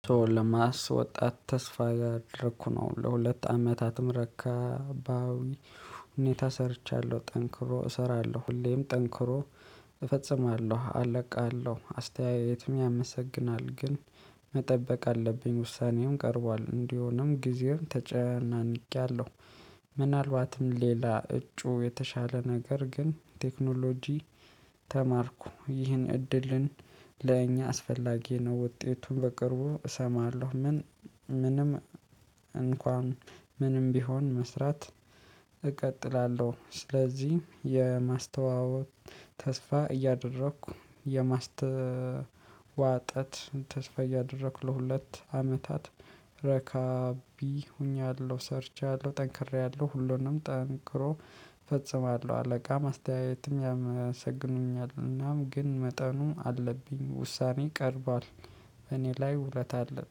ለማስወጣት ተስፋ እያደረኩ ነው ለሁለት አመታትም ረካባዊ ሁኔታ ሰርቻለሁ ጠንክሮ እሰራለሁ ሁሌም ጠንክሮ እፈጽማለሁ አለቃለሁ አስተያየትም ያመሰግናል ግን መጠበቅ አለብኝ ውሳኔውን ቀርቧል እንዲሆንም ጊዜውን ተጨናንቄያለሁ። ምናልባትም ሌላ እጩ የተሻለ ነገር ግን ቴክኖሎጂ። ተማርኩ ይህን እድልን ለእኛ አስፈላጊ ነው ውጤቱን በቅርቡ እሰማለሁ። ምን? ምንም እንኳን ምንም ቢሆን መስራት እቀጥላለሁ። ስለዚህ የማስተዋወቅ ተስፋ እያደረኩ የማስተዋጠት ተስፋ እያደረኩ ለሁለት አመታት ረካቢ ሆኛለሁ። ሰርቻለሁ ጠንክሬያለሁ ሁሉንም ጠንክሮ ፈጽማለሁ አለቃ አስተያየትም ያመሰግኑኛል እናም ግን መጠኑ አለብኝ ውሳኔ ቀርቧል። እኔ ላይ ውለታ አለ